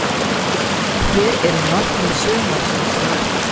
Hver eru markmið sumarsins hjá ykkur?